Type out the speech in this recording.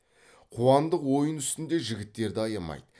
қуандық ойын үстінде жігіттерді аямайды